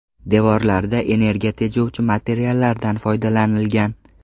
Devorlarida energiya tejovchi materiallardan foydalanilgan.